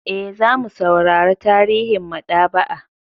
E, za mu saurara tarihin maɗaba'a.